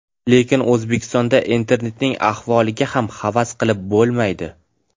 Lekin O‘zbekistonda internetning ahvoliga ham havas qilib bo‘lmaydi.